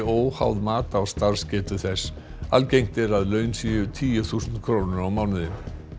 óháð mat á starfsgetu þess algengt er að laun séu tíu þúsund krónur á mánuði